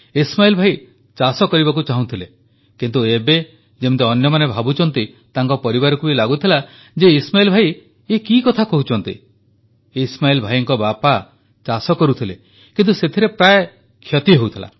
ଇସ୍ମାଇଲ୍ ଭାଇ ଚାଷ କରିବାକୁ ଚାହୁଁଥିଲେ କିନ୍ତୁ ଏବେ ଯେମିତି ଅନ୍ୟମାନେ ଭାବୁଛନ୍ତି ତାଙ୍କ ପରିବାରକୁ ବି ଲାଗୁଥିଲା ଯେ ଇସ୍ମାଇଲ୍ ଭାଇ ଏ କି କଥା କହୁଛନ୍ତି ଇସ୍ମାଇଲ୍ ଭାଇଙ୍କ ବାପା ଚାଷ କରୁଥିଲେ କିନ୍ତୁ ସେଥିରେ ତାଙ୍କର ପ୍ରାୟ କ୍ଷତି ହେଉଥିଲା